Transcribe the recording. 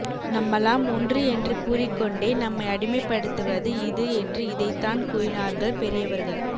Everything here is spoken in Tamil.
நம்மல்லாம் ஒன்று என்று கூறிக்கொண்டே நம்மை அடிமைப்படுத்தவது இது என்று இதைத்தான் கூறினார்கள் பெரியவர்கள்